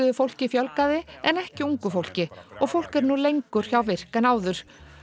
fólki fjölgaði en ekki ungu fólki og fólk er nú lengur hjá virk en áður